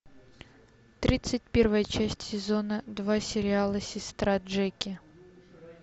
тридцать первая часть сезона два сериала сестра джеки